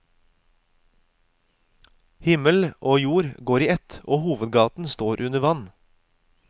Himmel og jord går i ett, og hovedgaten står under vann.